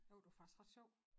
Der var det var faktisk ret sjovt